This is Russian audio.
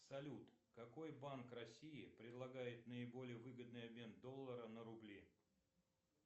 салют какой банк россии предлагает наиболее выгодный обмен доллара на рубли